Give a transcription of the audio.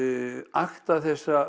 akta